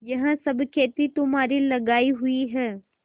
यह सब खेती तुम्हारी लगायी हुई है